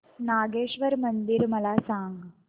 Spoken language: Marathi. नागेश्वर मंदिर मला सांग